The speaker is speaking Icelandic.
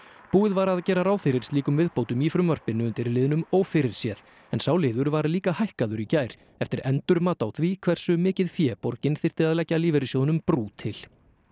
búið var að gera ráð fyrir slíkum viðbótum í frumvarpinu undir liðnum ófyrirséð en sá liður var líka hækkaður í gær eftir endurmat á því hversu mikið fé borgin þyrfti að leggja lífeyrissjóðnum brú til